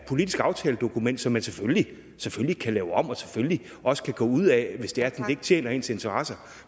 politisk aftaledokument som man selvfølgelig selvfølgelig kan lave om og selvfølgelig også kan gå ud af hvis det er det ikke tjener ens interesser